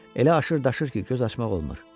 Elə aşır daşır ki, göz açmaq olmur.